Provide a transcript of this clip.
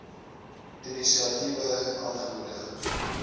inisiatiewe aangemoedig